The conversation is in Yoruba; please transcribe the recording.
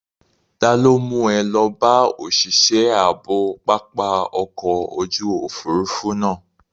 Ta ló mú ẹ lọ bá òṣìṣẹ́ ààbò pápá ọkọ̀ ojú òfuurufú náà?